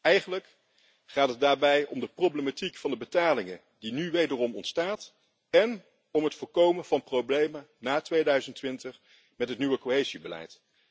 Eigenlijk gaat het daarbij om de problematiek van de betalingen die nu opnieuw ontstaat, en om het voorkomen van problemen na 2020, met het nieuwe cohesiebeleid.